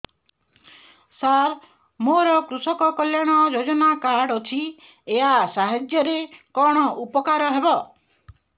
ସାର ମୋର କୃଷକ କଲ୍ୟାଣ ଯୋଜନା କାର୍ଡ ଅଛି ୟା ସାହାଯ୍ୟ ରେ କଣ ଉପକାର ହେବ